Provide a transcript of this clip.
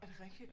Er det rigtigt?